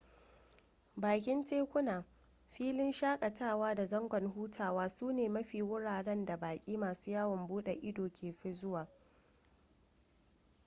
bakin tekuna filin shakatawa da zangon hutawa su ne mafi wuraren da baki masu yawon bude ido ke fi zuwa